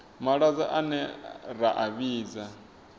malwadze ane ra a vhidza